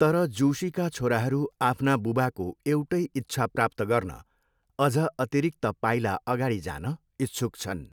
तर जोशीका छोराहरू आफ्ना बुबाको एउटै इच्छा प्राप्त गर्न अझ अतिरिक्त पाइला अगाडि जान इच्छुक छन्।